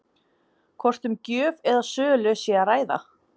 Hvort um gjöf eða sölu sé að ræða?